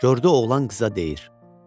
Gördü oğlan qıza deyir: